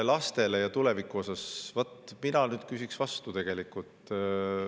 Laste ja tuleviku kohta mina küsin vastu tegelikult.